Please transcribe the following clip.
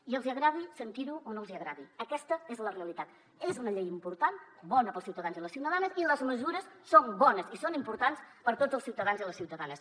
i els hi agradi sentir ho o no els hi agradi aquesta és la realitat és una llei important bona per als ciutadans i ciutadanes i les mesures són bones i són importants per a tots els ciutadans i les ciutadanes